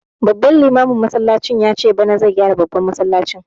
Babban limamin yace bana zai gyara babban masallacin